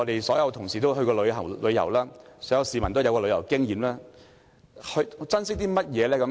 所有同事均曾出外旅遊，很多香港市民也有旅遊經驗，大家珍惜甚麼呢？